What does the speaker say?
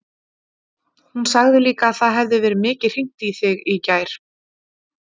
Hún sagði líka að það hefði verið mikið hringt í þig í gær.